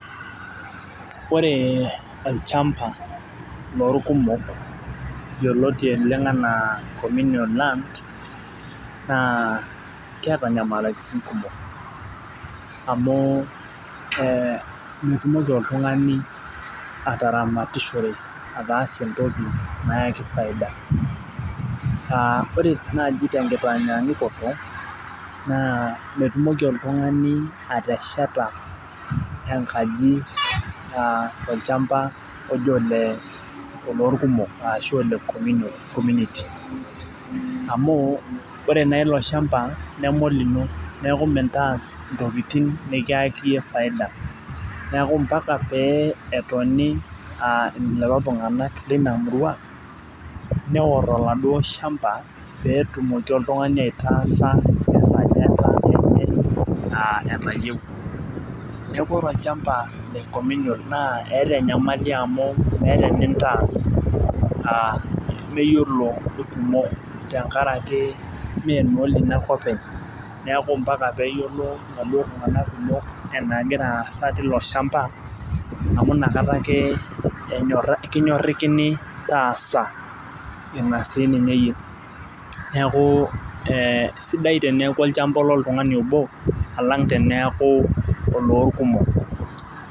Ore olchampa loorkumok yioloti oleng anaa cominion land naa keeta nyamalitin kumok. amu metumoki oltungani atatamatishore entoki nayaki faida, aa ore naaji tenkitanyaanyukoto. naa metumoki oltungani aatesheta enkaji tolchampa oji oloorkumok ashu ole community amu ore naa ilo shampa neme olino neeku mintaas ntokitin nikiyaki iyie faida. neeku mpaka pee etoni lelo tunganak leina murua, neor oladuo shampa pee etumoki oltungani ataasa esajata eney enayieu. neeku ore olchampa le communion naa eeta enyamali amu, meeta enintaas meyiolo ilkumok. tenkaraki ime naa olino ake openy. neeku mpaka peeyiolo iladuoo tunganak, kumok enagiraa aasa teilo shampa. amu inakata ake enyorakini taasa Ina sii ninye iyie. neeku, sidai teneeku olchampa oltungani obo, alang' teneeku oloorkumok.